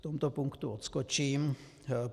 V tomto punktu odskočím.